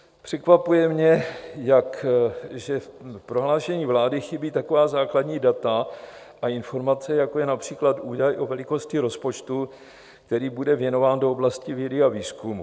Překvapuje mě, že v prohlášení vlády chybí taková základní data a informace, jako je například údaj o velikosti rozpočtu, který bude věnován do oblasti vědy a výzkumu.